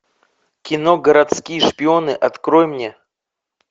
кино городские шпионы открой мне